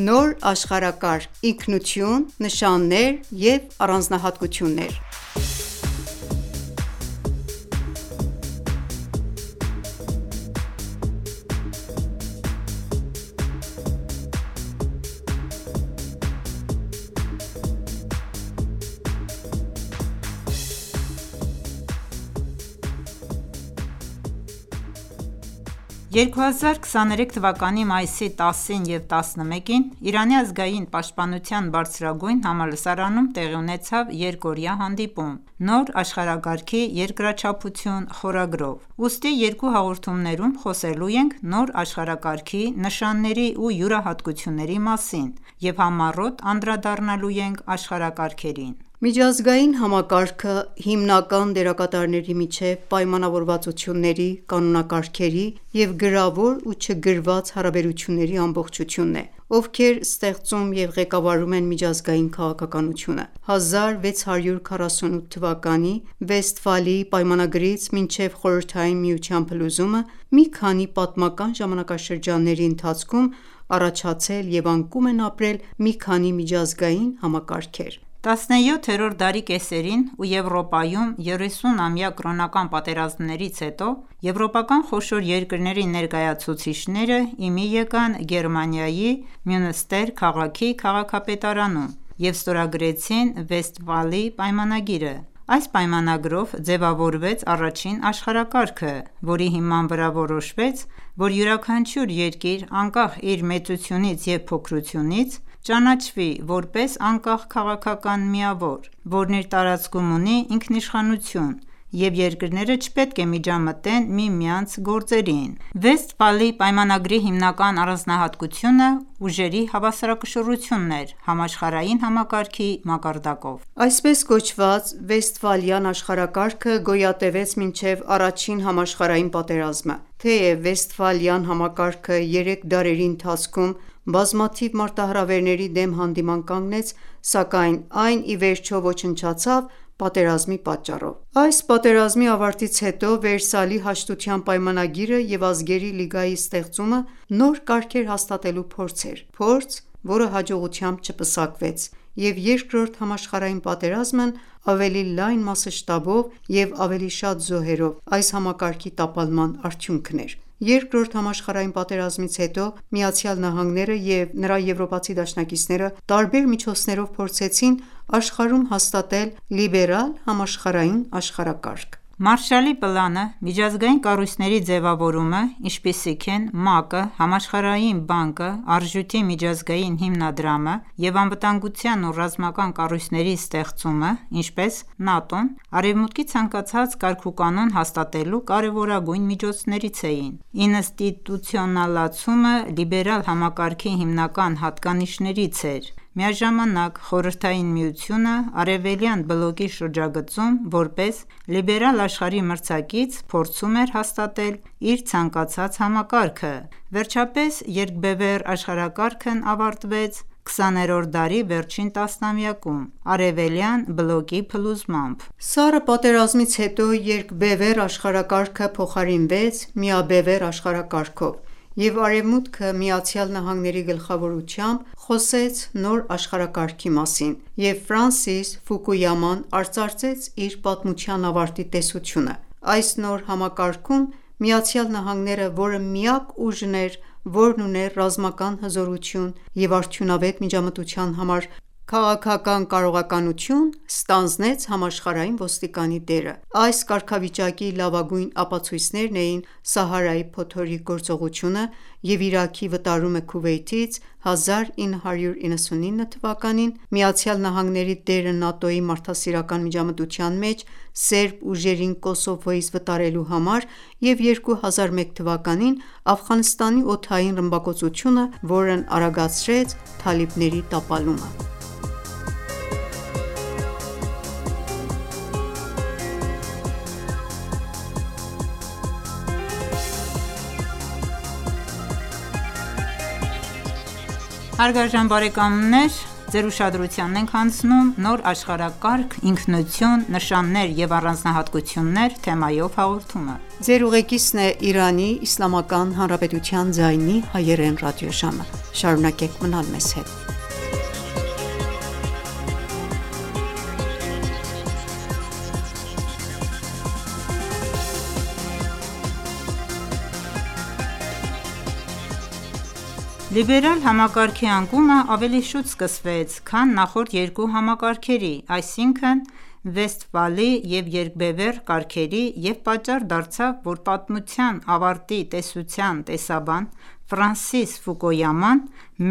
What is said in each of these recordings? Նոր աշխարհակարգ, ինքնություն, նշաններ և առանձնահատկություններ(1) 2023 թվականի մայիսի 10-ին և 11-ին Իրանի ազգային պաշտպանության բարձրագույն համալսարանում տեղի ունեցավ երկօրյա հանդիպում՝ «Նոր աշխարհակարգի երկրաչափություն» խորագրով։ Ուստի երկու հաղորդումներում խոսելու ենք նոր աշխարհակարգի նշանների ու յուրահատկությունների մասին և համառոտ անդրադառնալու ենք աշխարհակարգերին։ «Միջազգային համակարգը», հիմնական դերակատարների միջև պայմանավորվածությունների, կանոնակարգերի և գրավոր ու չգրված հարաբերությունների ամբողջությունն է, ովքեր ստեղծում և ղեկավարում են միջազգային քաղաքականությունը: 1648 թվականի Վեստֆալիի պայմանագրից մինչև Խորհրդային Միության փլուզումը, մի քանի պատմական ժամանակաշրջանների ընթացքում առաջացել և անկում են ապրել մի քանի միջազգային համակարգեր: 17-րդ դարի կեսերին ,ու Եվրոպայում 30 ամյա կրոնական պատերազմներից հետո ,եվրոպական խոշոր երկրների ներկայացուցիչները իմի եկան Գերմանիայի Մյունստեր քաղաքի քաղաքապետարանում և ստորագրեցին Վեստֆալի պայմանագիրը։ Այս պայմանագրով ձևավորվեց առաջին աշխարհակարգը, որի հիման վրա որոշվեց, որ յուրաքանչյուր երկիր, անկախ իր մեծությունից և փոքրությունից, ճանաչվի, որպես անկախ քաղաքական միավոր, որն իր տարածքում ունի ինքնիշխանություն, և երկրները չպետք է միջամտեն միմյանց գործերին: Վեստֆալի պայմանագրի հիմնական առանձնահատկությունը ուժերի հավասարակշռությունն էր՝ համաշխարհային համակարգի մակարդակով։ Այսպես կոչված Վեստֆալյան աշխարհակարգը գոյատևեց մինչև Առաջին համաշխարհային պատերազմը: Թեև Վեստֆալյան համակարգը երեք դարերի ընթացքում բազմաթիվ մարտահրավերների դեմ հանդիման կանգնեց ,սակայն, այն ի վերջո ոչնչացավ պատերազմի պատճառով: Այս պատերազմի ավարտից հետո, Վերսալի հաշտության պայմանագիրը և Ազգերի լիգայի ստեղծումը, նոր կարգեր հաստատելու փորձ էր, փորձ, որը հաջողությամբ չպսակվեց, և Երկրորդ համաշխարհային պատերազմն ավելի լայն մասշտաբով և ավելի շատ զոհերով, այս համակարգի տապալման արդյունքն էր: Երկրորդ համաշխարհային պատերազմից հետո, ԱՄՆ-ն և նրա եվրոպացի դաշնակիցները ,տարբեր միջոցներով փորձեցին աշխարհում հաստատել «Լիբերալ համաշխարհային աշխարհակարգ»։ Մարշալի պլանը, միջազգային կառույցների ձևավորումը, ինչպիսիք են՝ ՄԱԿ-ը, Համաշխարհային բանկը, Արժույթի միջազգային հիմնադրամը և անվտանգության և ռազմական կառույցների ստեղծումը, ինչպես՝ ՆԱՏՕ-ն, Արևմուտքի ցանկացած կարգուկանոն հաստատելու կարևորագույն միջոցներից էին: Ինստիտուցիոնալացումը ,լիբերալ համակարգի հիմնական հատկանիշներից էր։ Միաժամանակ Խորհրդային Միությունը, Արեւելյան բլոկի շրջագծում, որպես Լիբերալ աշխարհի մրցակից, փորձում էր հաստատել իր ցանկացած համակարգը։ Վերջապես երկբևեռ աշխարհակարգն ավարտվեց 20-րդ դարի վերջին տասնամյակում՝ Արևելյան բլոկի փլուզմամբ։ Սառը պատերազմից հետո երկբևեռ աշխարհակարգը փոխարինվեց միաբևեռ աշխարհակարգով,և Արեւմուտքը՝ ԱՄՆ-ի գլխավորությամբ, խոսեց «Նոր աշխարհակարգի» մասին և Ֆրանսիս Ֆուկույաման արծարծեց իր «պատմության ավարտի» տեսությունը։ Այս նոր համակարգում ,ԱՄՆ -ն, որը միակ ուժն էր, որն ուներ ռազմական հզորություն և արդյունավետ միջամտության համար քաղաքական կարողականություն, ստանձնեց համաշխարհային ոստիկանի դերը: Այս կարգավիճակի լավագույն ապացույցներն էին՝ «Սահարայի փոթորիկ» գործողությունը և Իրաքի վտարումը Քուվեյթից, 1999 թվականին ,ԱՄՆ-ի դերը ՆԱՏՕ-ի «մարդասիրական միջամտության» մեջ՝ Սերբ ուժերին Կոսովոյից վտարելու համար, և 2001 թվականին Աֆղանստանի օդային ռմբակոծությունը, որն արագացրեց Թալիբների տապալումը: Այնուամենայնիվ, Լիբերալ համակարգի անկումը ավելի շուտ սկսվեց, քան նախորդ երկու համակարգերի ,այսինքն՝ (վեստֆալի և երկբևեռ)կարգերի, և պատճառ դարձավ, որ «Պատմության ավարտի» տեսության տեսաբան Ֆրանսիս Ֆուկույաման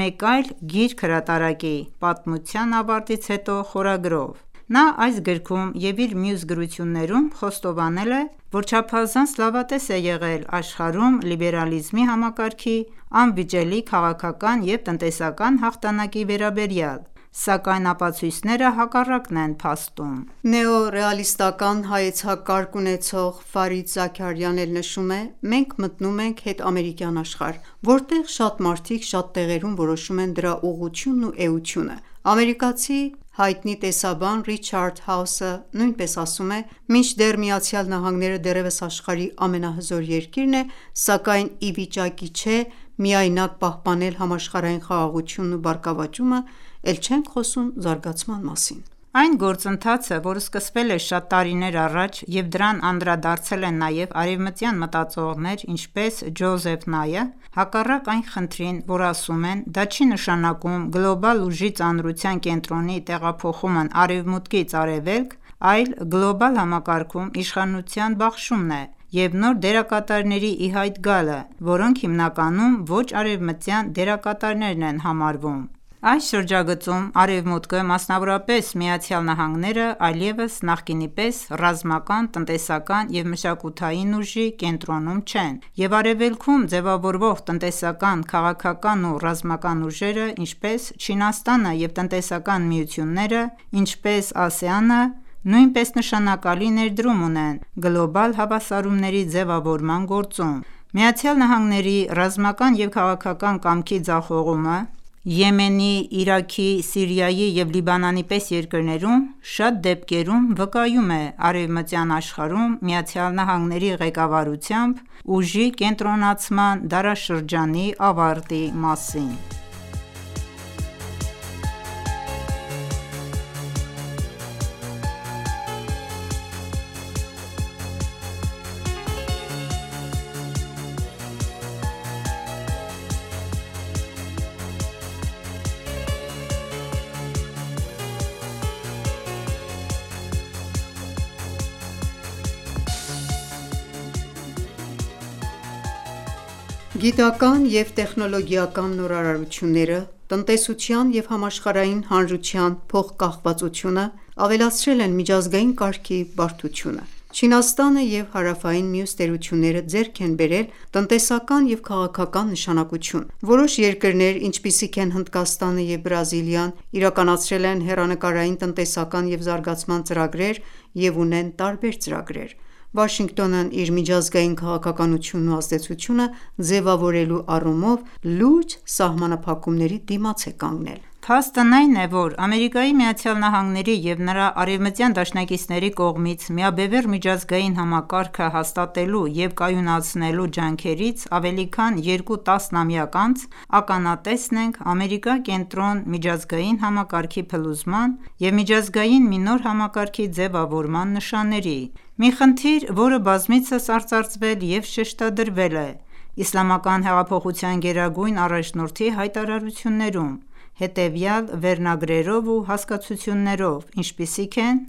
մեկ այլ գիրք հրատարակի «Պատմության ավարտից հետո» խորագրով: Նա, այս գրքում և իր մյուս գրություններում խոստովանել է, որ չափազանց լավատես է եղել աշխարհում լիբերալիզմի համակարգի անվիճելի քաղաքական և տնտեսական հաղթանակի վերաբերյալ, սակայն ապացույցները հակառակն են փաստում: Նեո ռեալիստական հայեցակարգ ունեցող Ֆարիդ Զաքարիան էլ նշում է, մենք մտնում ենք հետամերիկյան աշխարհ, որտեղ «շատ մարդիկ շատ տեղերում» որոշում են դրա ուղղությունն ու էությունը։ Ամերիկացի հայտնի տեսաբան Ռիչարդ Հաասը նույնպես ասում է.«Մինչդեռ ԱՄՆ-ն դեռևս աշխարհի ամենահզոր երկիրն է, սակայն այն ի վիճակի չէ միայնակ պահպանել համաշխարհային խաղաղությունն ու բարգավաճումը, էլ չենք խոսում զարգացման մասին»: Այն գործընթացը, որը սկսվել է շատ տարիներ առաջ, և դրան անդրադարձել են նաև արևմտյան մտածողներ, ինչպես՝ Ջոզեֆ Նայը, հակառակ այն խնդրին ,որ ասում են, դա չի նշանակում «գլոբալ ուժի ծանրության կենտրոնի տեղափոխումն Արևմուտքից Արևելք»,այլ՝ գլոբալ համակարգում իշխանության բաշխումն է և նոր դերակատարների ի հայտ գալը, որոնք հիմնականում ոչ արևմտյան դերակատարներ են համարվում: Այս շրջագծում Արևմուտքը, մասնավորապես Ամերիկայի Միացյալ Նահանգները, այլևս նախկինի պես ռազմական, տնտեսական և մշակութային ուժի կենտրոնում չեն ,և արևելքում ձևավորվող տնտեսական, քաղաքական և ռազմական ուժերը, ինչպես՝ Չինաստանը, և տնտեսական միությունները, ինչպիս՝«ԱՍԵԱՆ»-ը, նույնպես նշանակալի ներդրում ունեն գլոբալ հավասարումների ձևավորման գործում: Ամերիկայի Միացյալ Նահանգների ռազմական և քաղաքական կամքի ձախողումը, Եմենի, Իրաքի, Սիրիայի և Լիբանանի պես երկրներում, շատ դեպքերում վկայում է Արևմտյան աշխարհում ԱՄՆ-ի ղեկավարությամբ ուժի կենտրոնացման դարաշրջանի ավարտի մասին: Գիտական և տեխնոլոգիական նորարարությունները, տնտեսության և համաշխարհային հանրության փոխկախվածությունը ավելացրել են միջազգային կարգի բարդությունը։ Չինաստանը և հարավային մյուս տերությունները ձեռք են բերել տնտեսական և քաղաքական նշանակություն։ Որոշ երկրներ, ինչպիսիք են՝ Հնդկաստանը և Բրազիլիան, իրականացրել են հեռանկարային տնտեսական և զարգացման ծրագրեր և ունեն տարբեր ծրագրեր: Վաշինգտոնը իր միջազգային քաղաքականությունն ու ազդեցությունը ձևավորելու առումով լուրջ սահմանափակումների դիմաց է կանգնել: Փաստն այն է, որ Ամերիկայի Միացյալ Նահանգների և նրա արևմտյան դաշնակիցների կողմից միաբևեռ միջազգային համակարգը հաստատելու և կայունացնելու ջանքերից ավելի քան երկու տասնամյակ անց, ականատեսն ենք Ամերիկա-կենտրոն միջազգային համակարգի փլուզման և միջազգային մի նոր համակարգի ձևավորման նշանների։ Մի խնդիր, որը բազմիցս արծարծվել և շեշտադրվել է Իսլամական հեղափոխության գերագույն առաջնորդի հայտարարություններում, հետևյալ վերնագրերով ու հասկացություններով, ինչպիսիք են՝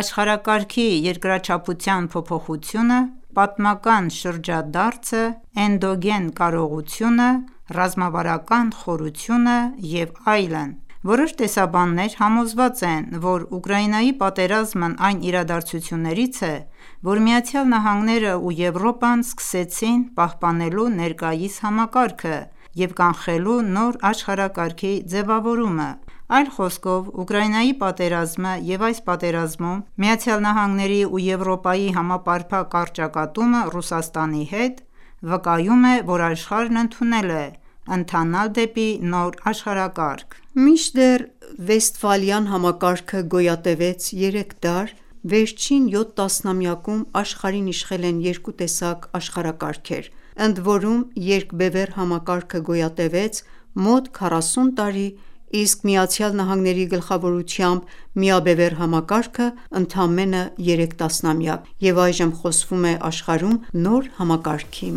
«աշխարհակարգի երկրաչափության փոփոխությունը», «պատմական շրջադարձը», «էնդոգեն կարողությունը», «ռազմավարական խորությունը» և այլն։ Որոշ համոզված են, որ Ուկրաինայի պատերազմը այն իրադարձություններից է, որ ԱՄՆ-ն և Եվրոպան սկսեցին, պահպանելու ներկայիս համակարգը և կանխելու նոր աշխարհակարգի ձևավորումը։ Այլ խոսքով ,Ուկրաինայի պատերազմը և այս պատերազմում ԱՄՆ-ի և Եվրոպայի համապարփակ առճակատումը Ռուսաստանի հետ, վկայում է,որ աշխարհը ընդունել է ընթանալ դեպի նոր աշխարհակարգ: Մինչդեռ Վեստֆալյան համակարգը գոյատևեց երեք դար, վերջին 7 տասնամյակում աշխարհին իշխել են երկու տեսակ աշխարհակարգեր, ընդորում երկբևեռ համակարգը գոյատևեց մոտ 40 տարի, իսկ ԱՄՆ-ի գլխավորությամբ միաբևեռ համակարգը՝ընդամենը 3 տասնամյակ, և այժմ խոսվում է աշխարհում նոր համակարգի